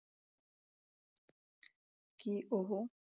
ਕੀ ਉਹੋ